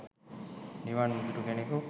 නිවන් නොදුටු කෙනෙකු